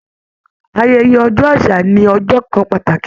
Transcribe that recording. Ayẹyẹ ọjọ́ àṣà ni ọjọ́ kan pàtàkì